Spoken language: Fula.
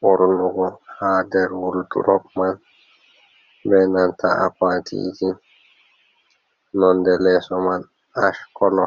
ɓornugo ha nder woldrop man be nanta akwatiji, nonde leso man ash kolo.